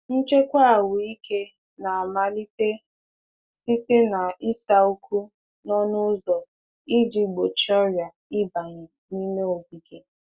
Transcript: Nchedo ahụike na-amalite site n'ịsa ụkwụ n’ọnụ ụzọ ka ọrịa ghara ibata n’ime ogige.